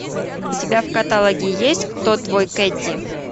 у тебя в каталоге есть кто твой кэдди